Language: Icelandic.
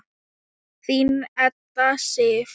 Þín Edda Sif.